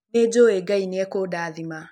Nĩ njũĩ Ngai nĩ akũndathima.